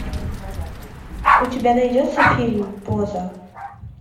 у тебя найдется фильм поза